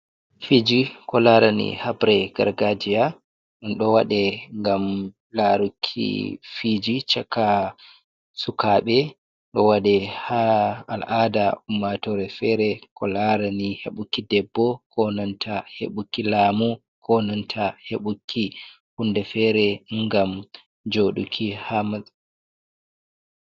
Fiji ko larani habre gargajiya ɗon ɗo waɗe ngam laruki fiji chaka sukaɓe. Ɗo waɗe ha al'ada ummatore fere ko larani heɓuki debbo, konanta heɓuki lamu, konanta heɓuki hunde fere ngam joduki ha masa...